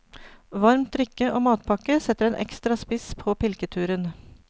Varmt drikke og matpakke setter en ekstra spiss på pilketuren.